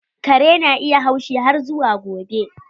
Kare na iya haushi har zuwa gobe.